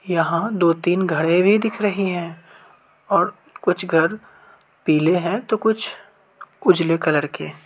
यहा दो-तीन घरें भी दिख रही हैं और कुछ घर पीले है तो कुछ उजले कलर के --